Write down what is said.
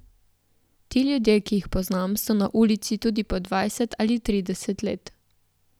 Ti ljudje, ki jih poznam, so na ulici tudi po dvajset ali trideset let.